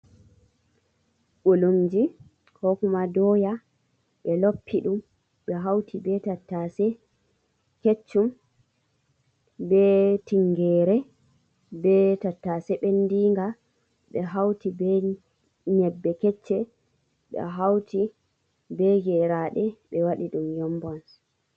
Ɓulumji, ko kuma dooya, ɓe loppi ɗum, ɓe hawti be tattaase kech-chum, be tingere, be tattaase ɓendinga, ɓe hawti be nyebbe kech-che, ɓe hawti be geraaɗe, ɓe waɗi ɗum yombons.